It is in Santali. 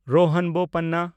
ᱨᱳᱦᱟᱱ ᱵᱳᱯᱟᱱᱱᱟ